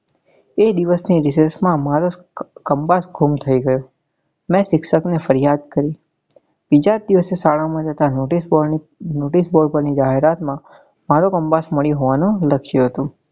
એ દિવસ ની રીસેસ માં મારો compass ગુમ થયો મેં શિક્ષક ને ફરિયાદ કરી બીજા જ દિવસે શાળા માં notice board પર ની જાહેરાત માં મારો compass મળ્યો હોવા નું લખ્યું હતું.